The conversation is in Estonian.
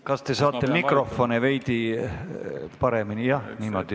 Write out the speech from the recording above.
Kas te saate mikrofone veidi paremini sättida?